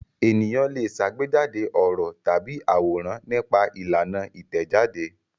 Ènìyàn le ṣàgbéjáde ọ̀rọ̀ tàbí àwòrán nípa ìlànà Ìtẹ̀jáde.